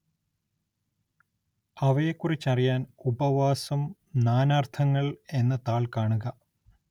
അവയെക്കുറിച്ചറിയാന്‍ ഉപവാസം നാനാര്‍ത്ഥങ്ങള്‍ എന്ന താള്‍ കാണുക